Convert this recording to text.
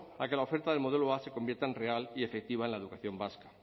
a que la oferta del modelo a se convierta en real y efectiva en la educación vasca